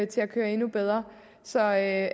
til at køre endnu bedre så af